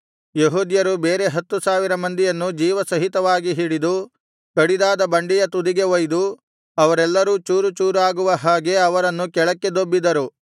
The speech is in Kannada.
ಯೆಹೂದ್ಯರು ಬೇರೆ ಹತ್ತು ಸಾವಿರ ಮಂದಿಯನ್ನು ಜೀವಸಹಿತವಾಗಿ ಹಿಡಿದು ಕಡಿದಾದ ಬಂಡೆಯ ತುದಿಗೆ ಒಯ್ದು ಅವರೆಲ್ಲರೂ ಚೂರು ಚೂರಾಗುವ ಹಾಗೆ ಅವರನ್ನು ಕೆಳಕ್ಕೆ ದೊಬ್ಬಿದರು